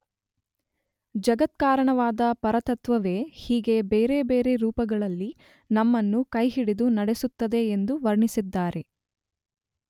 ಜಗತ್ಕಾರಣವಾದ ಪರತತ್ತ್ವವೇ ಹೀಗೆ ಬೇರೆ ಬೇರೆ ರೂಪಗಳಲ್ಲಿ ನಮ್ಮನ್ನು ಕೈಹಿಡಿದು ನಡೆಸುತ್ತದೆ ಎಂದು ವರ್ಣಿಸಿದ್ದಾರೆ.